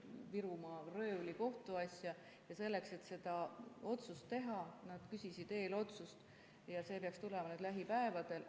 Virumaa röövli kohtuasja –, ja selleks, et seda otsust teha, nad küsisid eelotsust, mis peaks tulema lähipäevadel.